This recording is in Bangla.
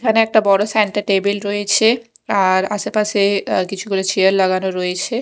এখানে একটা বড় স্যান্টা টেবিল রয়েছে আর আশেপাশে অ্যা কিছু্ করে চেয়ার লাগানো রয়েছে।